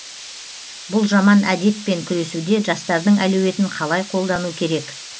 бұл жаман әдетпен күресуде жастардың әлеуетін қалай қолдану керек